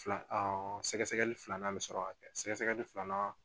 Fila sɛgɛsɛgɛli filanan bɛ sɔrɔ ka kɛ sɛgɛsɛgɛli filanan